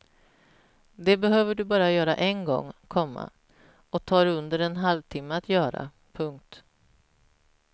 Det behöver du bara göra en gång, komma och tar under en halvtimme att göra. punkt